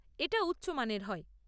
এটা উচ্চ মানের হয়।